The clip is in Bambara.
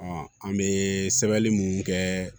an bɛ sɛbɛnni mun kɛ